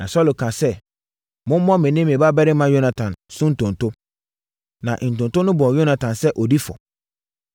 Na Saulo kaa sɛ, “Mommɔ me ne me babarima Yonatan so ntonto.” Na ntonto no bɔɔ Yonatan sɛ ɔdi fɔ.